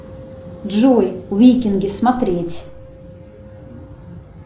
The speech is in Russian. джой викинги смотреть